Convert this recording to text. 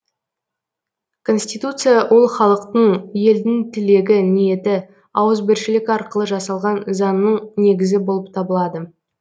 конституция ол халықтың елдің тілегі ниеті ауызбіршілік арқылы жасалған заңның негізі болып табылады